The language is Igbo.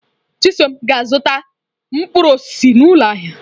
Chisom ga-azụta mkpụrụ osisi n'ụlọ ahịa.